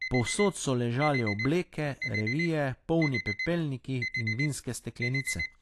Povsod so ležali obleke, revije, polni pepelniki in vinske steklenice.